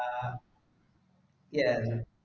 ആ എന്താ